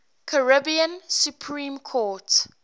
caribbean supreme court